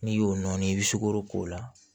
N'i y'o nɔɔni i bɛ sukoro k'o la